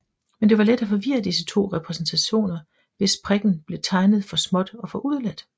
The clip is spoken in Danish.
Men det var let at forvirre disse to repræsentationer hvis prikken blev tegnet for småt eller udeladt